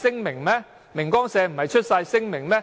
明光社不是發出了聲明嗎？